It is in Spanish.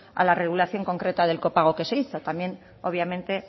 a la regulación concreta del copago que se hizo también obviamente